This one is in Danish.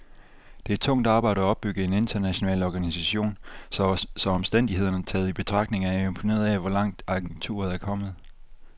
Det er tungt arbejde at opbygge en international organisation, så omstændighederne taget i betragtning er jeg imponeret af, hvor langt agenturet er kommet.